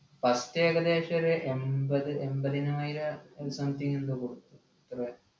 first ഏകദേശോര് എമ്പത് എമ്പതിനായിരം ഒരു something എന്തോ കൊടുത്തു